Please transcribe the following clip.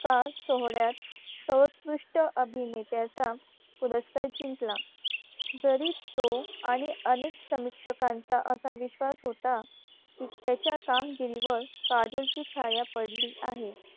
पुरस्कार सोहळ्यात सर्वोत्कृष्ट अभिनेत्याचा पुरस्कार जिंकला जरी तो आणि अनेक समीक्षकांचा असा विश्वास होता की त्याच्या कामगिरीवर काजोल ची छाया पडली आहे